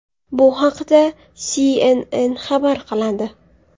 Bu haqda CNN xabar qiladi .